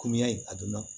a donna